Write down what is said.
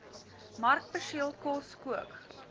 markperseel kos kook